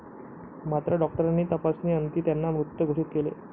मात्र डॉक्टरांनी तपासणी अंती त्यांना मृत घोषित केले.